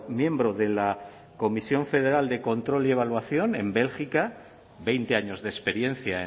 miembro de la comisión federal de control y evaluación en bélgica veinte años de experiencia